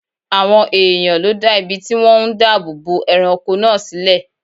Àwọn èèyàn ló dá ibi tí wọ́n ń dáàbò bo ẹranko náà sílẹ̀